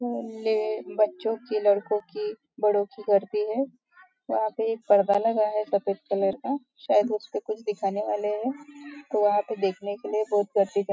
बच्चों की लडको की बड़ो की गर्दी है यहाँ पे एक पर्दा लगा है सफ़ेद कलर का शायद उस पे कुछ दिखाने वाले है वहा पे देखने के लिए बहुत गर्दी--